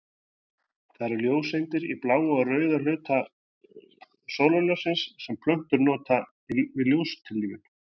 Það eru ljóseindir í bláa og rauða hluta sólarljóssins sem plöntur nota við ljóstillífun.